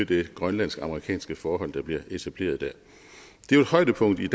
det grønlandsk amerikanske forhold der bliver etableret dér det er jo højdepunktet i